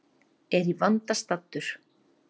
Er í vanda staddur.